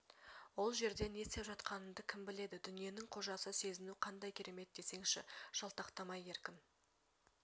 ол жерде не істеп жатқаныңды кім біледі дүниенің қожасы сезіну қандай керемет десеңші жалтақтамай еркін